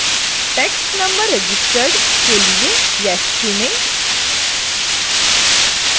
tax number registered के लिए yes चुनें